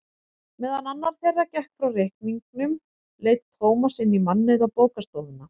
Meðan annar þeirra gekk frá reikningnum leit Tómas inn í mannauða bókastofuna.